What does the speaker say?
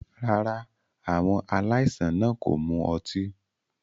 Rárá, àwọn aláìsàn náà kò mu ọtí.